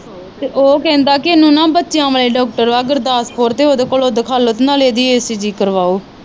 ਤੇ ਉਹ ਕਹਿੰਦਾ ਕੀ ਇਹਨੂੰ ਨਾ ਬੱਚਿਆਂ ਵਾਲੇ ਡਾਕਟਰ ਵਾ ਗੁਰਦਾਸਪੁਰ ਤੇ ਉਹ ਦੇ ਕੋਲੋਂ ਦਿਖਾਲੋ ਤੇ ਨਾਲੇ ਇਹਦੀ ਕਰਵਾਓ।